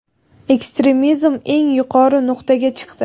ekstremizm eng yuqori nuqtaga chiqdi.